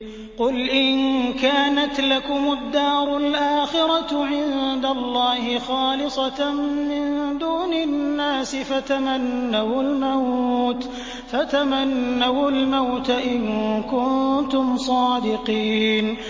قُلْ إِن كَانَتْ لَكُمُ الدَّارُ الْآخِرَةُ عِندَ اللَّهِ خَالِصَةً مِّن دُونِ النَّاسِ فَتَمَنَّوُا الْمَوْتَ إِن كُنتُمْ صَادِقِينَ